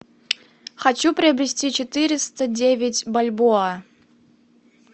хочу приобрести четыреста девять бальбоа